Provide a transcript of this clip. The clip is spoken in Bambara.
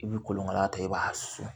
I bi kolonkala ta i b'a susu